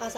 هست